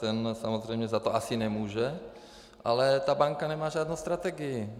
Ten samozřejmě za to asi nemůže, ale ta banka nemá žádnou strategii.